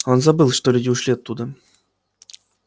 он забыл что люди ушли оттуда